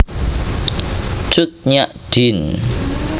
Cut Nyak Dien